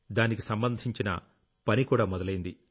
దానికి సంబంధించిన పనికూడా మొదలయ్యింది